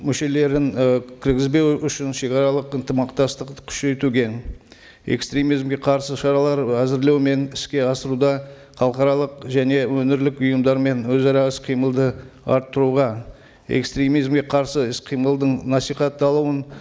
мүшелерін і кіргізбеу үшін шегаралық ынтымақтасты күшейтуге экстремизмге қарсы шаралар әзірлеу мен іске асыруды халықаралық және өңірлік ұйымдармен өзара іс қимылды арттыруға экстремизмге қарсы іс қимылдың насихатталуын